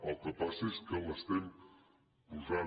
el que passa és que l’estem posant